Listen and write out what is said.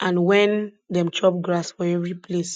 and when dem chop grass for every place